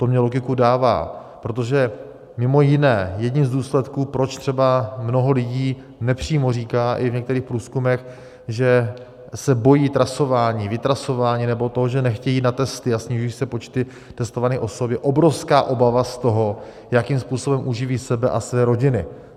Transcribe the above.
To mně logiku dává, protože mimo jiné jedním z důsledků, proč třeba mnoho lidí nepřímo říká i v některých průzkumech, že se bojí trasování, vytrasování nebo toho, že nechtějí jít na testy, a snižují se počty testovaných osob, je obrovská obava z toho, jakým způsobem uživí sebe a své rodiny.